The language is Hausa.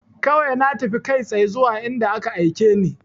Kawai na tafi kai tsaye zuwa inda ka aike ni